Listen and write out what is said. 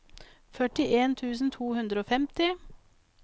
førtien tusen to hundre og femti